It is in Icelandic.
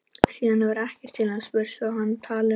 Síðan hefur ekkert til hans spurst og er hann talinn af.